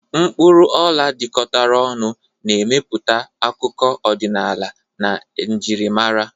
Mkpuru ola jikọtara ọnụ, na-emepụta akụkọ ọdịnala na njirimara.